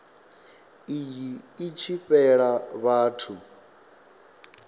iyi i tshi fhela vhathu